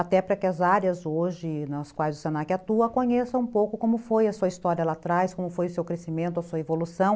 Até para que as áreas hoje nas quais o se na que atua conheçam um pouco como foi a sua história lá atrás, como foi o seu crescimento, a sua evolução.